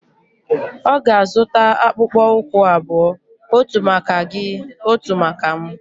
Ọ ga-azụta akpụkpọ ụkwụ abụọ. otu maka gị, otu maka m